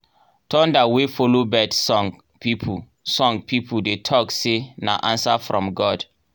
thunder wey follow bird song people song people dey talk say na answer from god.